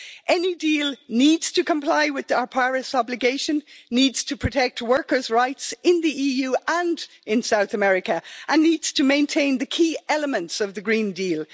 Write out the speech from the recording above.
Any deal needs to comply with our Paris obligation, needs to protect workers' rights in the EU and in South America and needs to maintain the key elements of the Green Deal.